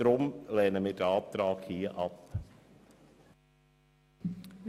Wir lehnen den Antrag deshalb ab.